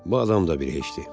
Bu adam da bir heçdir.